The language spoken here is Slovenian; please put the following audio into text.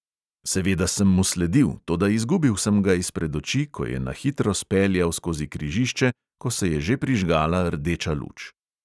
Seveda sem mu sledil, toda izgubil sem ga izpred oči, ko je na hitro speljal skozi križišče, ko se je že prižgala rdeča luč.